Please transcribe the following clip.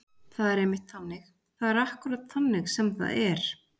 Það er einmitt þannig. það er akkúrat þannig sem það er.